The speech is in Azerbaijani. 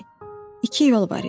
İki yol var idi.